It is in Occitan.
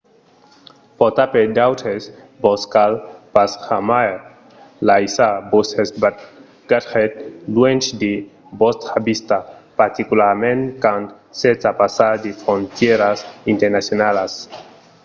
portar per d'autres - vos cal pas jamai laissar vòstres bagatges luènh de vòstra vista particularament quand sètz a passar de frontièras internacionalas